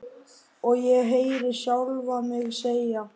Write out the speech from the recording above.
Og ég heyri sjálfa mig segja: